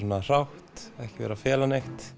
hrátt ekki verið að fela neitt